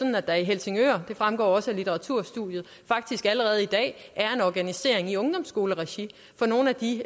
jo at der i helsingør og det fremgår også af litteraturstudiet faktisk allerede i dag er en organisering i ungdomsskoleregi for nogle af de